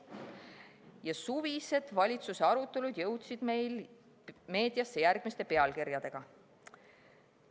Ja suvised valitsuse arutelud jõudsid meil meediasse järgmiste pealkirjadega.